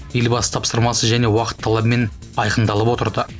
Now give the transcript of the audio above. елбасы тапсырмасы және уақыт талабымен айқындалып отырады